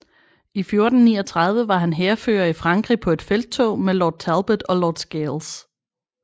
I 1439 var han hærfører i Frankrig på et felttog med Lord Talbot og Lord Scales